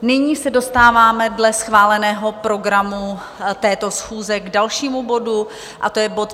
Nyní se dostáváme dle schváleného programu této schůze k dalšímu bodu, a to je bod